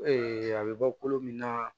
a bɛ bɔ kolo min na